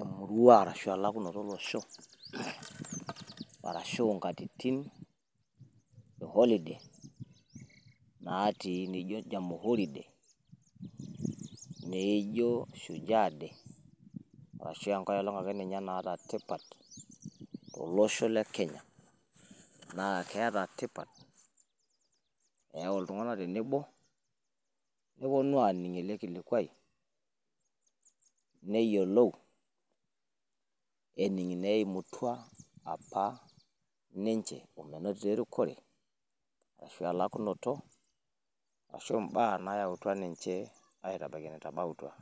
emurua arashu e lakunoto o losho, arashu nkatitin e holiday naatii. Naijo jamhuri day, neijo shujaa day arashu enkae olong ake naata tipat to losho le Kenya. Naa keeta tipat keyau iltung`anak te nebo neponu aaning ele kilikuai. Neyiolou ening ineimutua apa ninche o menotito e rikore, arashu elakunoto ashu, imbaa nayautua ninche aitabaiki enetabautua.